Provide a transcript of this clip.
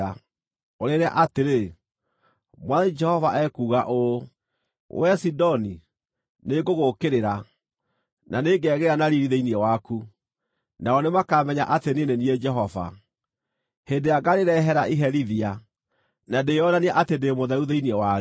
ũrĩĩre atĩrĩ: ‘Mwathani Jehova ekuuga ũũ: “ ‘Wee Sidoni, nĩngũgũũkĩrĩra, na nĩngegĩĩra na riiri thĩinĩ waku. Nao nĩmakamenya atĩ niĩ nĩ niĩ Jehova, hĩndĩ ĩrĩa ngaarĩrehere iherithia, na ndĩĩonanie atĩ ndĩ mũtheru thĩinĩ warĩo.